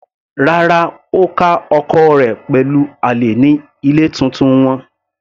Rárá, Ó ká ọkọ rẹ̀ pẹ̀lú àlè ní ilé titun wọn.